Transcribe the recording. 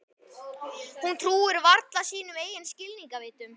Hún trúir varla sínum eigin skilningarvitum.